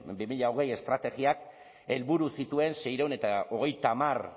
bi mila hogei estrategiak helburu zituen seiehun eta hogeita hamar